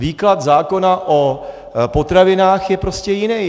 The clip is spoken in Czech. Výklad zákona o potravinách je prostě jiný.